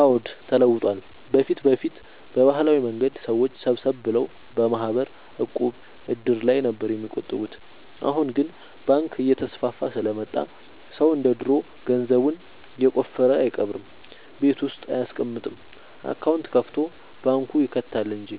አዎድ ተለውጧል በፊት በፊት በባህላዊ መንገድ ሰዎች ሰብሰብ ብለው በማህበር፣ ዕቁብ፣ እድር ላይ ነበር የሚቆጥቡት አሁን ግን ባንክ እየተስፋፋ ስለመጣ ሰው እንደ ድሮ ገንዘቡን የቆፈረ አይቀብርም ቤት ውስጥ አይያስቀምጥም አካውንት ከፋቶ ባንክ ይከታል እንጂ